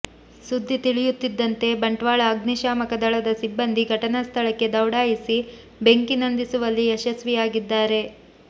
ಸುದ್ದಿ ತಿಳಿಯುತ್ತಿದ್ದಂತೆ ಬಂಟ್ವಾಳ ಅಗ್ನಿ ಶಾಮಕ ದಳದ ಸಿಬ್ಬಂದಿ ಘಟನಾ ಸ್ಥಳಕ್ಕೆ ದೌಡಾಯಿಸಿ ಬೆಂಕಿ ನಂದಿಸುವಲ್ಲಿ ಯಶಸ್ವಿಯಾಗಿದ್ದಾರೆ